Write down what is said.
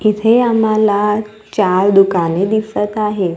इथे आम्हाला चार दुकाने दिसत आहे.